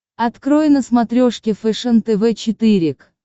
открой на смотрешке фэшен тв четыре к